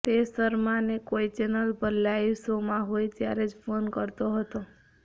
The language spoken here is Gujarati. તે શર્માને કોઇ ચેનલ પર લાઇવ શો માં હોય ત્યારે જ ફોન કરતો હતો